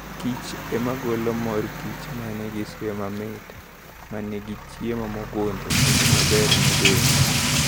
kich ema golo mor kich, ma nigi suya mamit, ma nigi chiemo mogundho, kendo maber ne del.